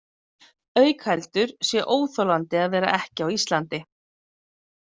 Auk heldur sé óþolandi að vera ekki á Íslandi.